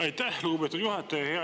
Aitäh, lugupeetud juhataja!